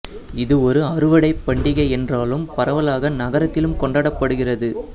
இது ஒரு அறுவடை பண்டிகை என்றாலும் பரவலாக நகரத்திலும் கொண்டாடப்படுகிறது